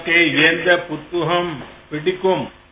உங்களுக்கு எந்தப் புத்தகம் பிடிக்கும்